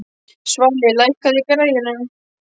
Svali, lækkaðu í græjunum.